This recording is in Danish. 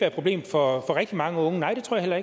et problem for rigtig mange unge nej det tror jeg